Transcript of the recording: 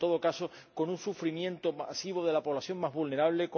y, en todo caso, con un sufrimiento masivo de la población más vulnerable